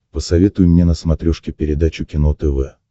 посоветуй мне на смотрешке передачу кино тв